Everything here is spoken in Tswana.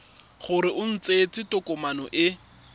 gore o tsentse tokomane e